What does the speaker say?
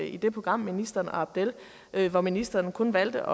i det program med ministeren og abdel hvor ministeren kun valgte